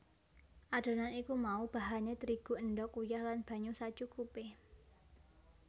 Adonan iku mau bahané terigu endhog uyah lan banyu sacukupé